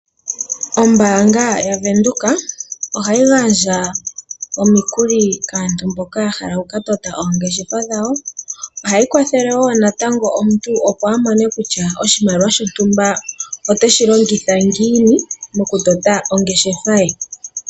Ombaanga yaVenduka ohayi gandja omikuli kaantu mboka ya hala oku katota oongeshefa dhawo, ohayi kwathele wo natango omuntu opo amone kutya oshimaliwa shotumba oteshi longitha ngiini mokutota ongeshefa ye.